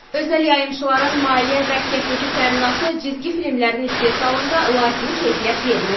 Özəl yayımçıların maliyyə və texniki təminatı cizgi filmlərin istehsalında lazımi keyfiyyət vermir.